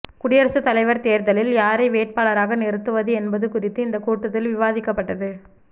குடியரசு தலைவர் தேர்தலில் யாரை வேட்பாளராக நிறுத்துவது என்பது குறித்து இந்தக் கூட்டத்தில் விவாதிக்கப்பட்டது